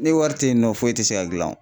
Ni wari tɛ yen nɔ foyi tɛ se ka dilan o